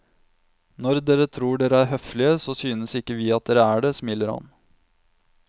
Når dere tror dere er høflige, så synes ikke vi at dere er det, smiler han.